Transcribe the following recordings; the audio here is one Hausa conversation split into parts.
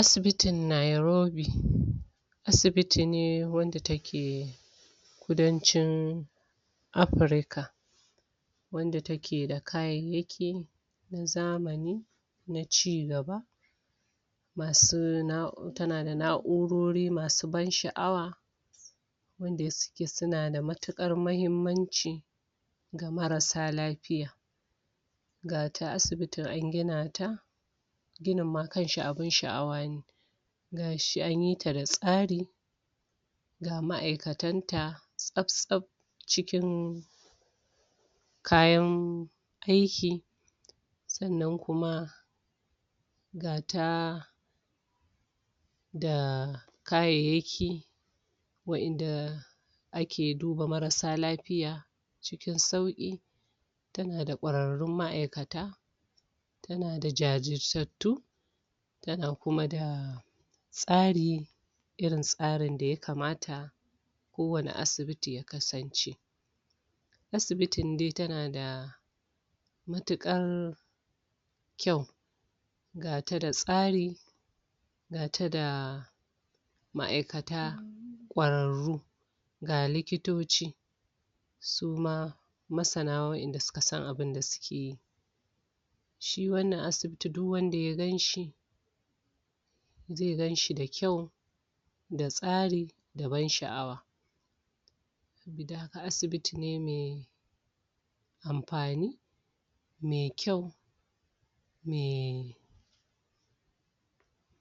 asibitin nairobi asibiti ne wanda take kudancin afirika wanda takeda kayaryakin zamani na cigaba masu nah tana da na'urori masu ban sha'awa wanda suke suna da matukar ,mahimmanci ga marasa lafiya gata asibitin an gina ta ginin ma kanshi abun sha'awa ne gashi anyi ta da tsari ga ma'aikatan ta tsabtsab cikin cikin kayan aiki sannan kuma gata da kayyaki wadanda ake duba marasa lafiya cikin sauki yana da kwarrun ma'aikata tana da jajirtattu tana kuma da tsari irin tsarin da ya kamata kowane asibiti ya kasance asibitin dai tana da matukar kyau gata da tsari gata da ma'aikata kwararru ga likitoci suma masana wadanda suka san abinda sukeyi shi wannan asibiti duk wanda ya ganshi zai ganshi da kyau da tsari da ban sha'awa sabida haka asibiti ne mai amfani mai kyau me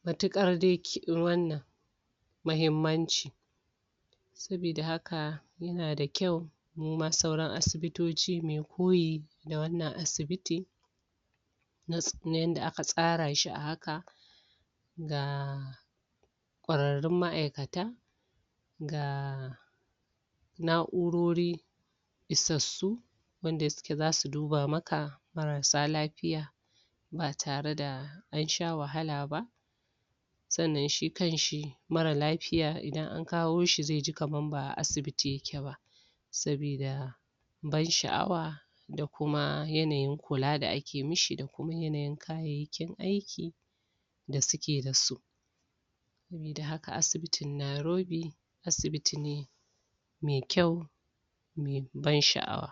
matukar dai wannan mahimmanci sabida haka yana da kyau suma sauran asibitoci muyi koyi da wannan asibiti kamar yadda aka tsara shi a haka da kwrarrun ma'aikata da na'urori isassu wanda suke zasu duba maka marasa lafiya ba tare da ansha wahala ba sannan shi kanshi marar lafiya idan an akawo shi zaiji kamar ba'a saibiti yake ba sabida ban sha'awa da kuma yanayin kula da ake mashi da kuma yanayin kayyakin aiki da suke da su saboda haka asibitin nairobi asibiti ne mai kyau mai ban sha'awa